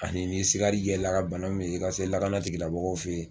Ani n'i sigar'i yɛ la ka bana min ye i ka se lakana tigi lamɔgɔw fɛ ye.